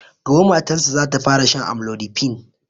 Gobe matan sa zata fara shan amlodipine